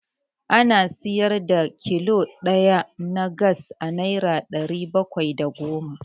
Ana siyar da kilo ɗaya na Gas a Naira ɗari bakwai da goma.